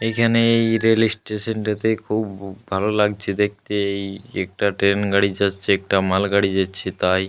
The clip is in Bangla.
এখানেই এই রেল স্টেশন টাতে খুব ভালো লাগছে দেখতে। এই একটা ট্রেন গাড়ি যাচ্ছে একটা মাল গাড়ি যাচ্ছে তাই।